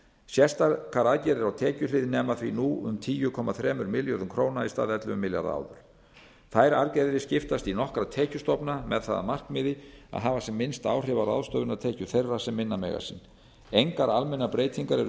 sérstakar aðgerðir á tekjuhlið nema því nú tíu komma þremur milljörðum króna í stað ellefu milljarða áður þær aðgerðir skiptast í nokkra tekjustofna með það að markmiði að hafa sem minnst áhrif á ráðstöfunartekjur þeirra sem minna mega sín engar almennar breytingar